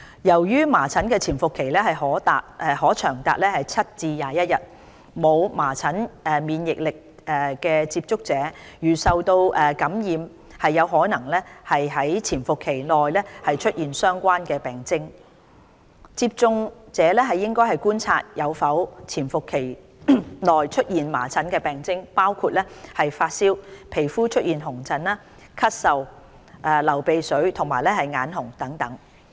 由於麻疹的潛伏期可長達7至21天，沒有麻疹免疫力的接觸者如受感染，有可能於潛伏期內出現相關病徵，因此接觸者應觀察有否於潛伏期內出現麻疹病徵，包括發燒、皮膚出現紅疹、咳嗽、流鼻水和眼紅等。